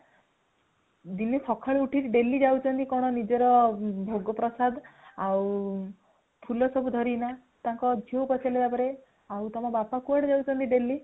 ଦିନେ ସକାଳୁ ଉଠିକି daily ଯାଉଛନ୍ତି, କଣ ନିଜର ଭୋଗ ପ୍ରସାଦ ଆଉ ଫୁଲ ସବୁ ଧରିକିନା | ତାଙ୍କ ଝିଅକୁ ପଚାରିଲେ ତାପରେ | ଆଉ ତୁମ ବାପା କୁଆଡେ ଯାଉଛନ୍ତି daily ?